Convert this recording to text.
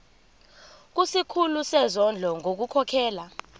kusikhulu sezondlo ngokukhokhela